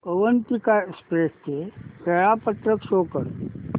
Avantika express चे वेळापत्रक show कर